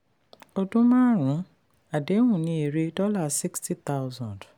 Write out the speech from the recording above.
ọdún-márùn-ún àdéhùn ní èrè $60000.